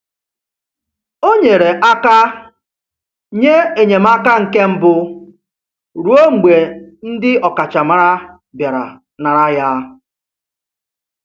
O nyere aka nye enyemaka nke mbụ ruo mgbe ndị ọkachamara bịara nara ya.